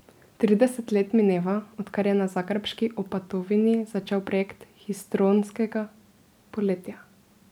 Trideset let mineva, odkar je na zagrebški Opatovini začel projekt histrionskega poletja.